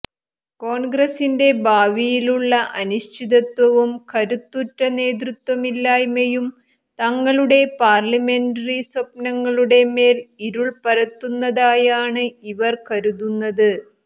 കോൺഗ്രസിന്റെ ഭാവിയിലുള്ള അനിശ്ചിതത്വവും കരുത്തുറ്റ നേതൃത്വമില്ലായ്മയും തങ്ങളുടെ പാർലമെൻററി സ്വപ്നങ്ങളുടെ മേൽ ഇരുൾ പരത്തുന്നതായാണ് ഇവർ കരുതുന്നത്